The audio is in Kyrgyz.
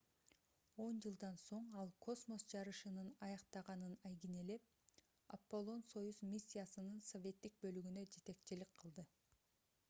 он жылдан соң ал космос жарышынын аяктагынын айгинелеп апполон-союз миссиясынын советтик бөлүгүнө жетекчилик кылды